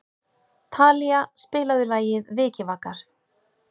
Talía, spilaðu lagið „Vikivakar“.